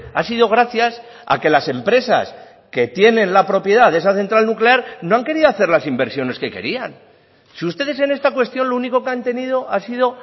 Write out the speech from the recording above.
ha sido gracias a que las empresas que tienen la propiedad de esa central nuclear no han querido hacer las inversiones que querían si ustedes en esta cuestión lo único que han tenido ha sido